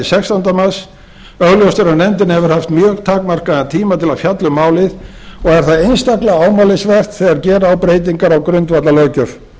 sextánda mars augljóst er að nefndin hefur haft mjög takmarkaðan tíma til að fjalla um málið og er það einstaklega ámælisvert þegar gera á breytingar á grundvallarlöggjöf